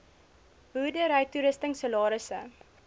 boerdery toerusting salarisse